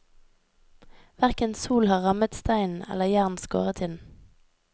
Hverken sol har rammet steinen eller jern skåret i den.